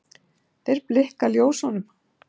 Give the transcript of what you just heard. Þeir blikka ljósunum